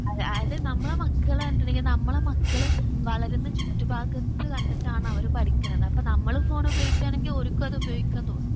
അതെ അതായത് നമ്മളെ മക്കൾ അനുകരിക്കുന്നത് നമ്മളെ മക്കള് വളരുന്ന ചുറ്റുഭാഗത്തു കണ്ടിട്ടാണ് അവരെ പഠിക്കണെ നമ്മളെ ഫോൺ ഉപയോഗിക്കുവാണെങ്കിൽ ഓര്ക്കും അത് ഉപയോഗിക്കാൻ തോന്നും.